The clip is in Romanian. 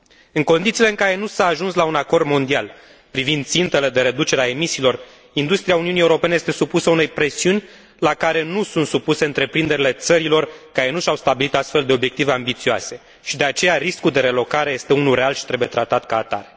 În condițiile în care nu s a ajuns la un acord mondial privind țintele de reducere a emisiilor, industria Uniunii Europene este supusă unei presiuni la care nu sunt supuse întreprinderile țărilor care nu și au stabilit astfel de obiective ambițioase și de aceea riscul de relocare este unul real și trebuie tratat ca atare.